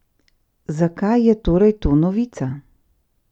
Zakaj je torej to novica?